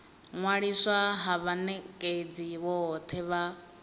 ṅwaliswa ha vhanekedzi vhothe vha